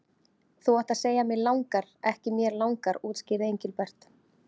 Þú átt að segja mig langar, ekki mér langar útskýrði Engilbert.